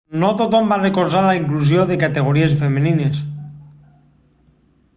no tothom va recolzar la inclusió de categories femenines